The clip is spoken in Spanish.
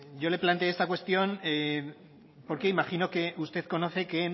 yo le planteé esta cuestión porque imagino que usted conoce que